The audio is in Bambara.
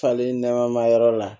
Fali nɛma yɔrɔ la